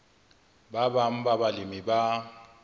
ba bang ba balemi ba